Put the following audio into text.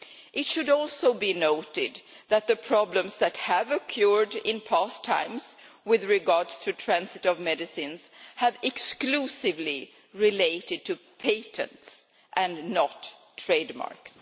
It should also be noted that the problems that have occurred in past times with regard to the transit of medicines have exclusively related to patents, and not trademarks.